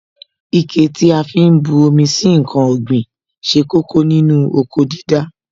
Ike tí a fi ń bu omi sí ǹkan ọ̀gbìn ṣe kókó nínú oko dídá